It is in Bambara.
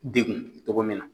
Degun togo min na.